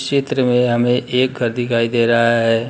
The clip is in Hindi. चित्र में हमें एक घर दिखाई दे रहा है।